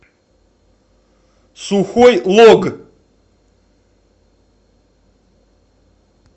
сухой лог